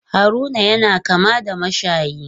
Haruna yana kama da mashayi.